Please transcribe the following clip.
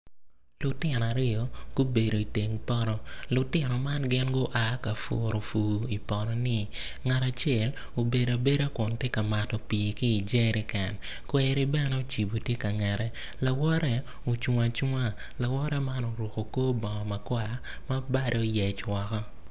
Lutino aryo gubedo iteng poto lutino man gin gua ka puro pur i potoni ngat acel obedo abeda kun tye ka mato pii ki i jeriken kweri bene ocibo tye ka ngette lawote ocung acunga lawote man oruko kor bongo makwar ma bade oyec woko.